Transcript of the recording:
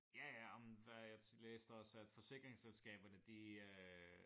Ja ja ej men der jeg læste også at forsikringsselskaberne de øh